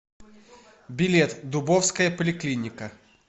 билет дубовская поликлиника